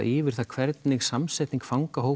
yfir það hvernig samsetning